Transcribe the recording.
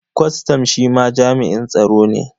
Kwastam shi ma jami'in tsaro ne.